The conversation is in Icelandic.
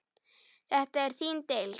Þetta er þín deild.